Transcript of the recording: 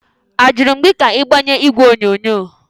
Ajụrụ m gị ka ị gbanye igwe onyonyo?